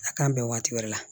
A k'an bɛn waati wɛrɛ la